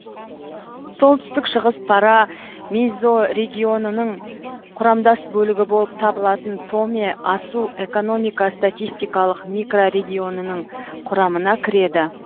солтүстік шығыс пара мезорегионының құрамдас бөлігі болып табылатын томе асу экономика статистикалық микрорегионының құрамына кіреді